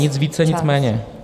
Nic více, nic méně.